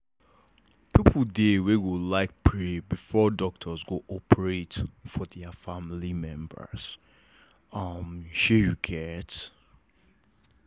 people dey wey go like pray before doctors go operation for their family members um shey you get?